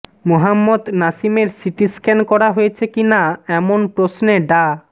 মোহাম্মদ নাসিমের সিটিস্ক্যান করা হয়েছে কি না এমন প্রশ্নে ডা